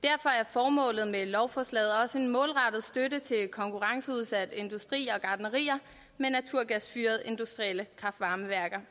formålet med lovforslaget også en målrettet støtte til konkurrenceudsatte industrier og gartnerier med naturgasfyrede industrielle kraft varme værker